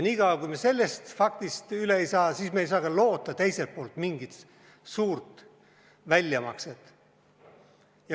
Niikaua, kui me sellest üle ei saa, ei saa me ka loota mingit suurt väljamakset.